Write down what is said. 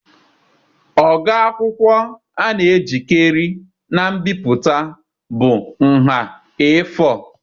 Ogo akwụkwọ a na-ejikarị na mbipụta bụ nha A4.